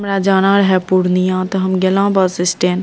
हमरा जाना रहे पूर्णिया ते हम गैलों बस स्टैंड ।